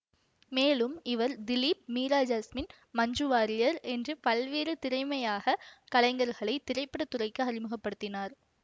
மேலும் இவர் திலீப் மீரா ஜாஸ்மின் மஞ்சு வாரியர் என்று பல்வேறு திறமையாக கலைஞர்களை திரைப்பட துறைக்கு அறிமுக படுத்தினார்